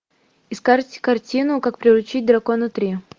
искать картину как приручить дракона три